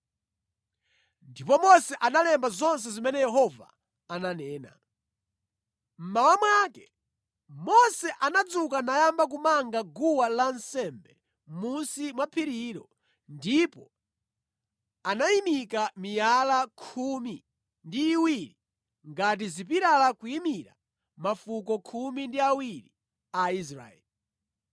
Ndipo Mose analemba zonse zimene Yehova ananena. Mmawa mwake Mose anadzuka nayamba kumanga guwa lansembe mʼmunsi mwa phirilo ndipo anayimika miyala khumi ndi iwiri ngati zipilala kuyimira mafuko khumi ndi awiri a Israeli.